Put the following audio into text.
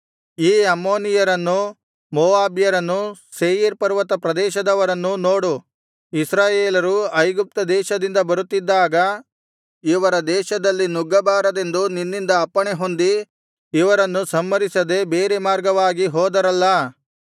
ಈ ಅಮ್ಮೋನಿಯರನ್ನೂ ಮೋವಾಬ್ಯರನ್ನೂ ಸೇಯೀರ್ ಪರ್ವತ ಪ್ರದೇಶದವರನ್ನೂ ನೋಡು ಇಸ್ರಾಯೇಲರು ಐಗುಪ್ತ ದೇಶದಿಂದ ಬರುತ್ತಿದ್ದಾಗ ಇವರ ದೇಶದಲ್ಲಿ ನುಗ್ಗಬಾರದೆಂದು ನಿನ್ನಿಂದ ಅಪ್ಪಣೆಹೊಂದಿ ಇವರನ್ನು ಸಂಹರಿಸದೆ ಬೇರೆ ಮಾರ್ಗವಾಗಿ ಹೋದರಲ್ಲಾ